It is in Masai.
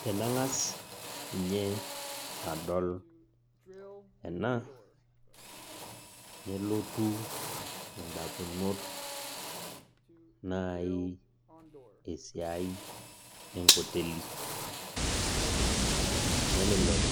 Tenang'as ninye adol ena, nelotu indamunot nai esiai enkoteli. Nelelek